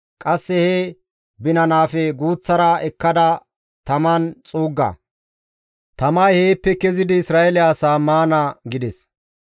Qasse he binanaafe guuththara ekkada taman xuugga; tamay heeppe kezidi Isra7eele asaa maana» gides.